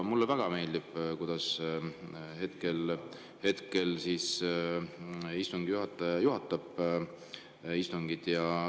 Mulle väga meeldib, kuidas hetkel istungi juhataja juhatab istungit.